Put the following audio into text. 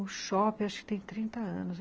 O shopping, acho que tem trinta anos.